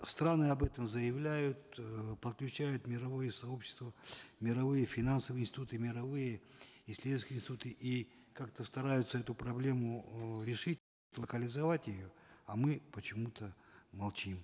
страны об этом заявляют э подключают мировые сообщества мировые финансовые институты мировые исследовательскте институты и как то стараются эту проблему э локализовать ее а мы почему то молчим